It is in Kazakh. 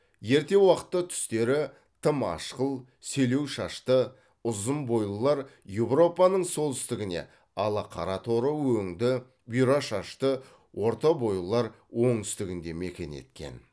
ерте уақытта түстері тым ақшыл селеу шашты ұзын бойлылар еуропаның солтүстігіне ал қара торы өңді бұйра шашты орта бойлылар оңтүстігінде мекен еткен